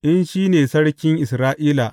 In shi ne Sarkin Isra’ila!